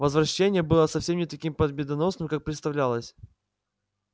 возвращение было совсем не таким победоносным как представлялось